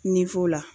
la